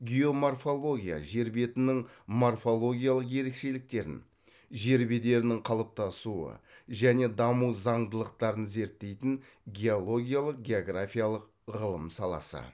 геоморфология жер бетінің морфологиялық ерекшеліктерін жер бедерінің қалыптасуы және даму заңдылықтарын зерттейтін геологиялық географиялық ғылым саласы